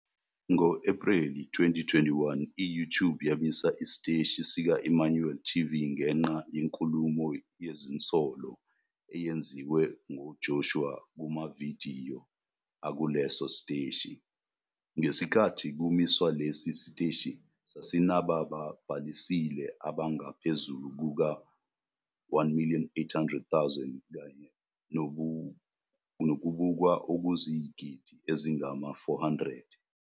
Ngo-Ephreli 2021, i-YouTube yamisa isiteshi sika-Emmanuel TV ngenxa yenkulumo yezinsolo eyenziwe nguJoshua kumavidiyo akuleso siteshi. Ngesikhathi kumiswa lesi siteshi, sasinababhalisile abangaphezu kuka-1 800 000 kanye nokubukwa okuyizigidi ezingama-400.